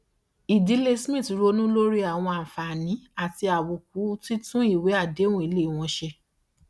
ìdílé smith ronú lórí àwọn àǹfààní àti àbùkù títún ìwé àdéhùn ilé wọn ṣe